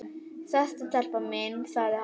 Sestu telpa mín, sagði hann.